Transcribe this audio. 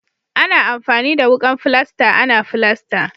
Ana amfani da wukan filasta ana filasta.